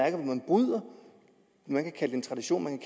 man kan kalde det en tradition